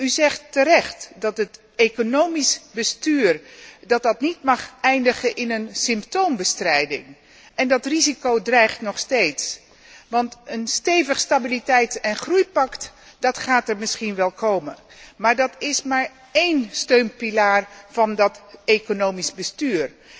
U zegt terecht dat het economisch bestuur niet mag eindigen in een symptoombestrijding en dat risico dreigt nog steeds, want een stevig stabiliteits en groeipact gaat er misschien wel komen, maar dat is slechts één steunpilaar van dat economisch bestuur.